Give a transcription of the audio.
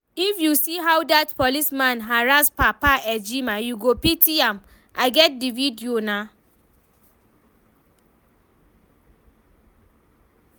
If you see how dat policeman harrass Papa Ejima you go pity am, I get the video nah